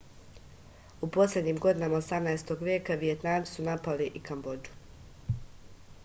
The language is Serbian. u poslednjim godinama 18. veka vijetnamci su napali i kambodžu